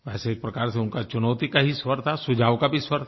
वैसे एक प्रकार से उनका चुनौती का ही स्वर था सुझाव का भी स्वर था